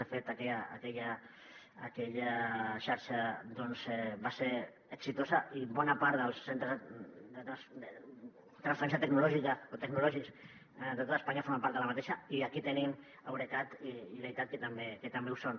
de fet aquella xarxa doncs va ser exitosa i bona part dels centres de transferència tecnològica o tecnològics de tot espanya formen part d’aquesta i aquí tenim eurecat i leitat que també ho són